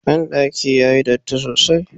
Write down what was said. Bandaki yayi datti sosai.